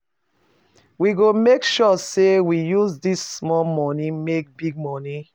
We go make sure sey we use dis small moni make big moni.